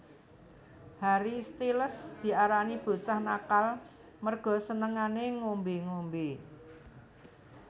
Harry Styles diarani bocah nakal merga senengane ngombe ngombe